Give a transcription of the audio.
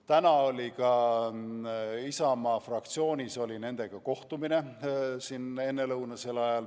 Täna ennelõunal oli meil Isamaa fraktsioonis nendega ka kohtumine.